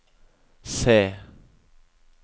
C